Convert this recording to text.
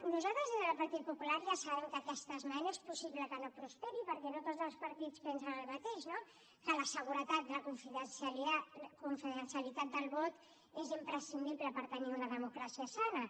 nosaltres des del partit popular ja sabem que aquesta esmena és possible que no prosperi perquè no tots els partits pensen el mateix no que la seguretat i la confidencialitat del vot és imprescindible per tenir una democràcia sana